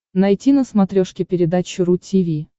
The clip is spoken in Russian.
найти на смотрешке передачу ру ти ви